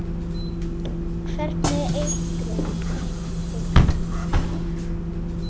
Hvernig eitrun?